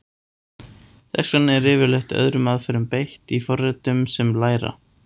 Þess vegna er yfirleitt öðrum aðferðum beitt í forritum sem læra.